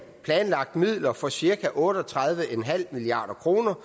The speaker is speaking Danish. planlagt midler for cirka otte og tredive milliard kroner